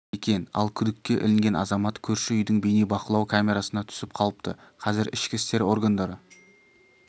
екен ал күдікке ілінген азамат көрші үйдің бейнебақылау камерасына түсіп қалыпты қазір ішкі істер органдары